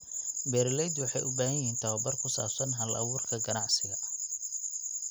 Beeraleydu waxay u baahan yihiin tababar ku saabsan hal-abuurka ganacsiga.